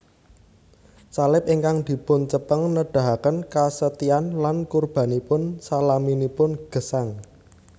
Salib ingkang dipuncepeng nedahaken kasetyan lan kurbanipun salaminipun gesang